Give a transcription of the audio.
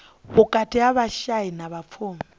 vhukati ha vhashai na vhapfumi